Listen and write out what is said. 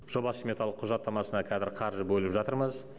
жоба сметалық құжаттамасына қазір қаржы бөліп жатырмыз